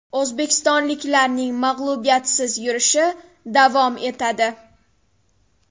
O‘zbekistonliklarning mag‘lubiyatsiz yurishi davom etadi.